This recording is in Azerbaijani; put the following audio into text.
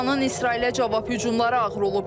İranın İsrailə cavab hücumları ağır olub.